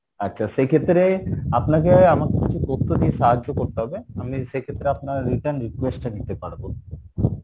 আচ্ছা, সেই ক্ষেত্রে আপনাকে আমাকে কিছু তথ্য দিয়ে সাহায্য করতে হবে, আপনি সেই ক্ষেত্রে আপনার return request টা নিতে পারবো,